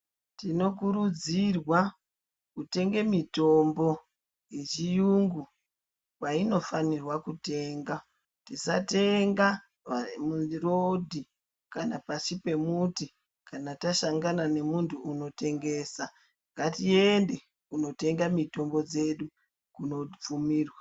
Tinokurudzirwa kutenga mitombo yechiyungu painofanirwe kutengwa. Tisatenga mupato kana pashi pemuti kana tasangana nemunhu anotengesa. Ngatiende kunotenga mitombo dzdu kuno bvumirwa.